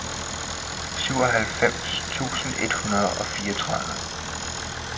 syvoghalvfems tusind et hundrede og fireogtredive